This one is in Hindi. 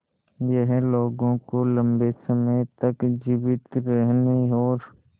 यह लोगों को लंबे समय तक जीवित रहने और